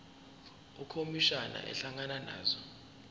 ukhomishana ehlangana nazo